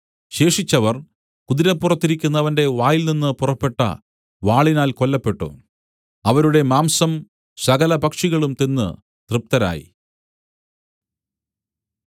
ശേഷിച്ചവർ കുതിരപ്പുറത്തിരിക്കുന്നവന്റെ വായിൽനിന്നു പുറപ്പെട്ട വാളിനാൽ കൊല്ലപ്പെട്ടു അവരുടെ മാംസം സകല പക്ഷികളും തിന്ന് തൃപ്തരായി